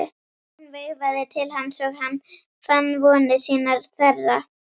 Hún veifaði til hans og hann fann vonir sínar þverra.